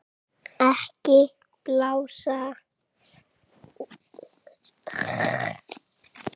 Ekki blása úlfalda úr mýflugu